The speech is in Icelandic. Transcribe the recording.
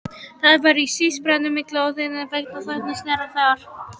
Það var sí-pískrandi sín á milli, en þagnaði snarlega þegar